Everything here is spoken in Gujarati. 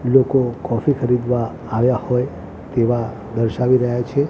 લોકો કૉફી ખરીદવા આવ્યા હોય તેવા દર્શાવી રહ્યા છે.